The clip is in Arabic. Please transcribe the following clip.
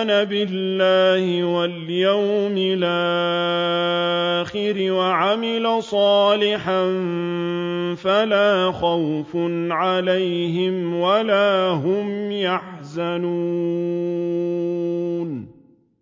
آمَنَ بِاللَّهِ وَالْيَوْمِ الْآخِرِ وَعَمِلَ صَالِحًا فَلَا خَوْفٌ عَلَيْهِمْ وَلَا هُمْ يَحْزَنُونَ